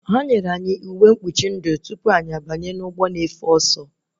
Ha nyere anyị uwe mkpuchi ndụ tupu anyị banye ụgbọ na-efe ọsọ